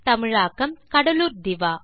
தமிழாக்கம் கடலூர் திவா